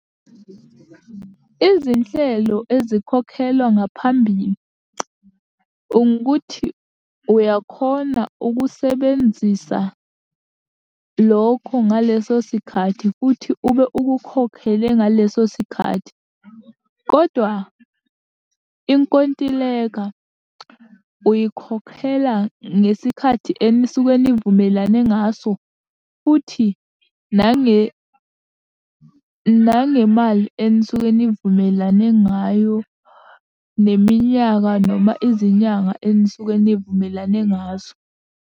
Izinhlelo ezikhokhelwa ngaphambili, ukuthi uyakhona ukusebenzisa lokho ngaleso sikhathi, futhi ube ukukhokhele ngaleso sikhathi, kodwa inkontileka uyikhokhela ngesikhathi enisuke nivumelane ngaso, futhi nangemali enisuke nivumelane ngayo, neminyaka noma izinyanga enisuke nivumelane ngazo.